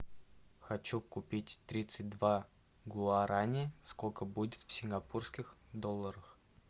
хочу купить тридцать два гуарани сколько будет в сингапурских долларах